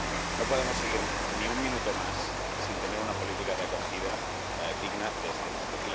No podemos seguir ni un minuto más sin tener una política de acogida digna de este nombre.